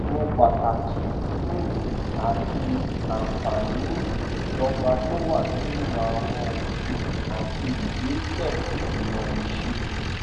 mọ pàtàkì um àti àǹfààní ìdọgba tó wà nínú àwọn òfin àti ìgbésẹ ìmọ ìṣirò